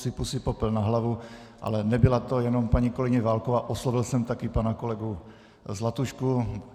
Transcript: Sypu si popel na hlavu, ale nebyla to jenom paní kolegyně Válková, oslovil jsem taky pana kolegu Zlatušku.